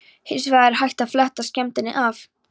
Hins vegar er hægt að fletta skemmdinni af.